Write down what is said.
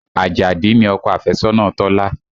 Àjàdí ni ọkọ afẹ́sọ́nà Tọ́lá